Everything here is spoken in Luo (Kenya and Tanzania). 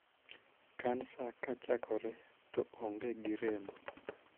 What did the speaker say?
Kansa kachakore to onge gi rem.